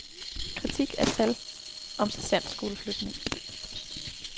Kritik af tal om sergentskoleflytning.